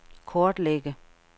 kortlægge